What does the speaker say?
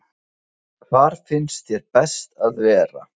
Hvar finnst þér best að vera?